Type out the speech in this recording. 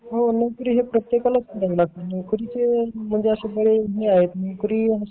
हो नोकरी प्रत्येकालाच करावी लागते नोकरी चे म्हणजे अशे बरेच महत्त्व आहे